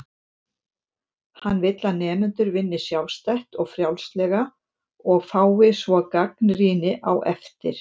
Hann vill að nemendur vinni sjálfstætt og frjálslega og fái svo gagnrýni á eftir.